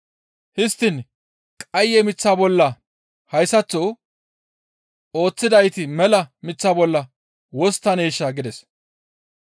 Histtiin qaye miththa bolla hayssaththo ooththidayti mela miththa bolla wosttaneesha?» gides.